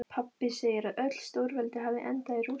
Pabbi segir að öll stórveldi hafi endað í rústum.